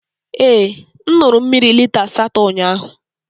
Ee, m ṅụrụ mmiri lita asatọ ụnyahụ.